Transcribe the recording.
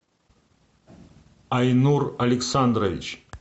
айнур александрович